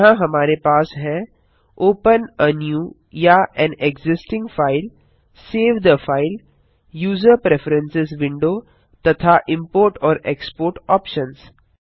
यहाँ हमारे पास हैं- ओपन आ न्यू या an existing file save the file user preference window तथा इम्पोर्ट और एक्सपोर्ट ऑप्शन्स